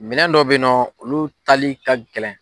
Minɛn dɔ bɛ ye nɔ, olu tali ka gɛlɛn.